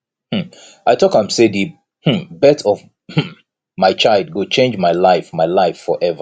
um i tok am sey di um birth of um my child go change my life my life forever